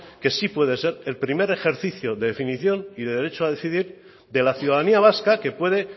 que sí puede ser el primer ejercicio de definición y de derecho a decidir de la ciudadanía vasca que puede